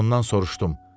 Ondan soruşdum: